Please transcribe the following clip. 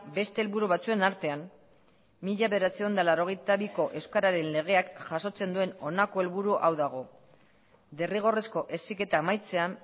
beste helburu batzuen artean mila bederatziehun eta laurogeita biko euskararen legeak jasotzen duen honako helburu hau dago derrigorrezko heziketa amaitzean